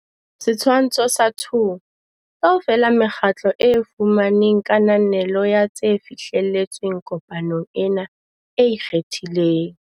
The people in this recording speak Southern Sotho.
Setshwantsho sa 2. Kaofela mekgatlo e fumaneng kananelo ya tse fihlelletsweng kopanong ena e ikgethileng.